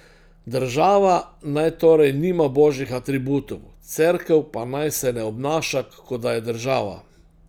Država naj torej nima božjih atributov, Cerkev pa naj se ne obnaša, kot da je država.